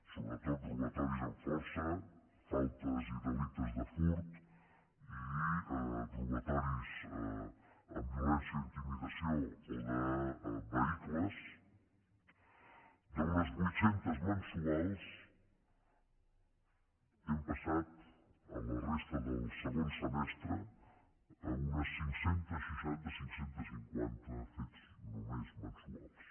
sobretot robatoris amb força faltes i delictes de furt i robatoris amb violència o intimidació o de vehicles d’uns vuit cents mensuals hem passat a la resta del segon semestre a uns cinc cents i seixanta cinc cents i cinquanta fets només mensuals